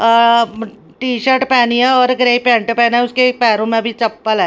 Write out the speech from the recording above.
अ T shirt पहनी है और ग्रे पैंट पहने उसके पैरों में भी चप्पल है।